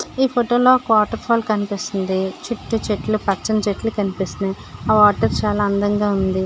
ఈ ఫోటో లో ఒక వాటర్ ఫాల్ కనిపిస్తుంది చుట్టూ చెట్లు పచ్చని చెట్లు కనిపిస్తున్నాయి ఆ వాటర్ చాలా అందంగా వుంది.